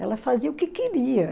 Ela fazia o que queria